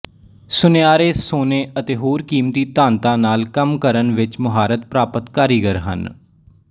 ਸੁਨਿਆਰੇ ਸੋਨੇ ਅਤੇ ਹੋਰ ਕੀਮਤੀ ਧਾਤਾਂ ਨਾਲ ਕੰਮ ਕਰਨ ਵਿੱਚ ਮੁਹਾਰਤ ਪ੍ਰਾਪਤ ਕਾਰੀਗਰ ਹਨ